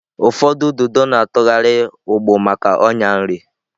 Ụfọdụ ududo na-atụgharị ụgbụ maka ọnyà nri.